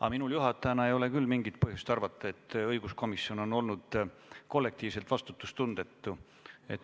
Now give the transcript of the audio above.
Aga minul juhatajana ei ole küll mingit põhjust arvata, et õiguskomisjon oleks olnud kollektiivselt vastutustundetu.